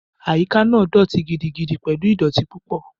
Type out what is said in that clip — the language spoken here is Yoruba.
Àyíká náà dọ̀ọ̀tí gidigidi pẹ̀lú ìdọ̀ọ̀tí pupa